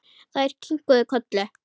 Þær kinkuðu kolli.